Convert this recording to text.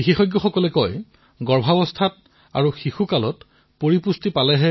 বিশেষজ্ঞসকলে কয় যে শিশুক গৰ্ভাৱস্থাতেই যিমান পাৰি পুষ্টি প্ৰদান কৰিব লাগে